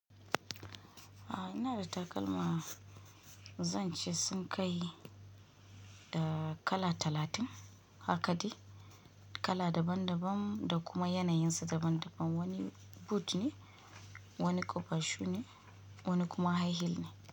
A ina da takalma zan ce sun kai da kala talatin. Haka dai, kala daban daban da kuma yanayin su daban daban. Wani boot ne, wani ƙofar shu ne, wani kuma high heel ne.